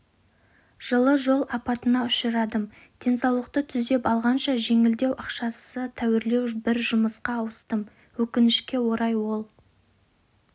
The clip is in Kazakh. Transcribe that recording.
жылы жол апатына ұшырадым денсаулықты түзеп алғанша жеңілдеу ақшасы тәуірлеу бір жұмысқа ауыстым өкінішке орай ол